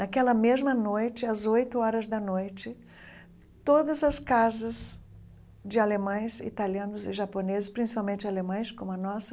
Naquela mesma noite, às oito horas da noite, todas as casas de alemães, italianos e japoneses, principalmente alemães, como a nossa,